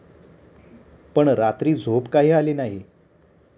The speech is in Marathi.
पण रात्री झोप काही आली नाही.